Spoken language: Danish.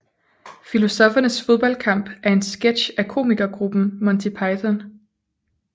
Filosoffernes Fodboldkamp er en sketch af komikergruppen Monty Python